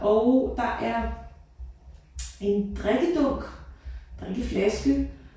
Og der er en drikkedunk drikkeflaske